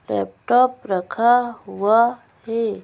Laptop रखा हुआ है।